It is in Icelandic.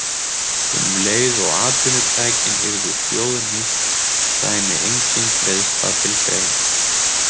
Um leið og atvinnutækin yrðu þjóðnýtt kæmi engin greiðsla til greina.